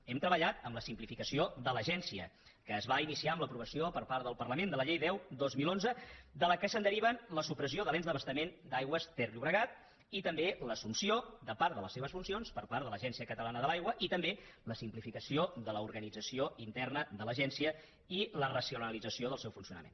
hem treballat en la simplificació de l’agència que es va iniciar amb l’aprovació per part del parlament de la llei deu dos mil onze de què es deriven la supressió de l’ens d’abastament aigües ter llobregat i també l’assumpció de part de les seves funcions per part de l’agència catalana de l’aigua i també la simplificació de l’organització interna de l’agència i la racionalització del seu funcionament